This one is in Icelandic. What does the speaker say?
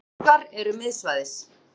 Kviðuggar eru miðsvæðis.